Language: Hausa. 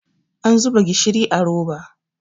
an zuba gishiri a roba